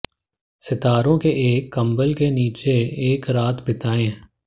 सितारों के एक कंबल के नीचे एक रात बिताएं